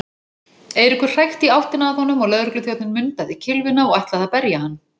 Eiríkur hrækti í áttina að honum og lögregluþjónninn mundaði kylfuna og ætlaði að berja hann.